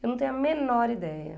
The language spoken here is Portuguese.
Eu não tenho a menor ideia.